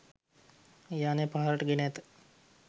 යානය පහළට ගෙන ඇත